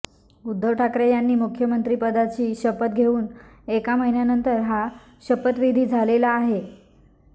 उद्धव ठाकरे यांनी मुख्यमंत्रिपदाची शपथ घेऊन एका महिन्यानंतर हा शपथविधी झालेला आहे